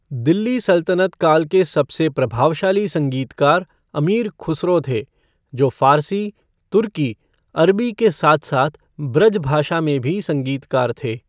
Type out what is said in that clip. दिल्ली सल्तनत काल के सबसे प्रभावशाली संगीतकार अमीर खुसरो थे, जो फ़ारसी, तुर्की, अरबी के साथ साथ ब्रज भाषा में भी संगीतकार थे।